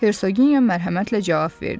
Hersoginya mərhəmətlə cavab verdi.